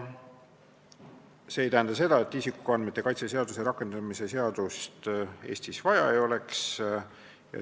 See ei tähenda, nagu isikuandmete kaitse seaduse rakendamise seadust Eestis vaja ei oleks.